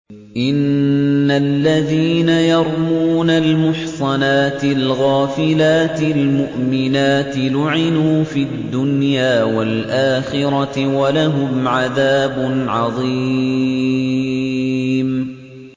إِنَّ الَّذِينَ يَرْمُونَ الْمُحْصَنَاتِ الْغَافِلَاتِ الْمُؤْمِنَاتِ لُعِنُوا فِي الدُّنْيَا وَالْآخِرَةِ وَلَهُمْ عَذَابٌ عَظِيمٌ